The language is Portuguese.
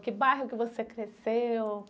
Que bairro que você cresceu?